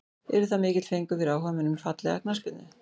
Yrði það mikill fengur fyrir áhugamenn um fallega knattspyrnu.